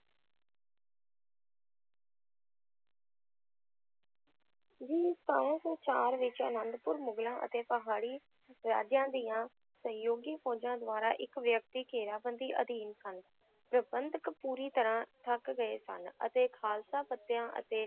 ਜੀ ਸਤਾਰਾਂ ਸੌ ਚਾਰ ਵਿੱਚ ਅਨੰਦਪੁਰ ਮੁਗਲਾਂ ਅਤੇ ਪਹਾੜੀ ਰਾਜਿਆਂ ਦੀਆਂ ਸਹਿਯੋਗੀ ਫ਼ੌਜਾਂ ਦੁਆਰਾ ਇੱਕ ਘੇਰਾਬੰਦੀ ਅਧੀਨ ਸਨ, ਪ੍ਰਬੰਧਕ ਪੂਰੀ ਤਰ੍ਹਾਂ ਥੱਕ ਗਏ ਸਨ ਅਤੇ ਖਾਲਸਾ ਪੱਤਿਆਂ ਅਤੇ